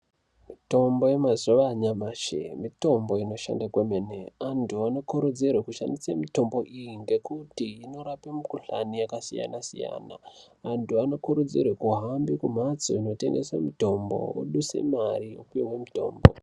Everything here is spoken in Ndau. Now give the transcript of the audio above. Mitombo yemazuva anyamashi mitombo inoshanda kwemene. Antu anokurudzirwe kushandise mitombo iyi ngekuti inorape mukuhlani yakasiyana siyana. Antu anokurudzirwe kuhambe mumhatso inotengese mitombo oduse mari opihwe mitombo.